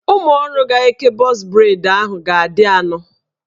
Ụmụọrụ ga-eke bọz breid ahụ ga-adị anọ